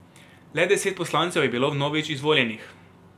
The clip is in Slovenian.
Le deset poslancev je bilo vnovič izvoljenih.